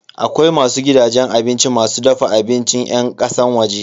Akwai wasu gidajen abinci masu dafa abincin yan kasan waje.